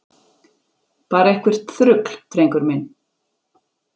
Bara eitthvert þrugl, drengur minn.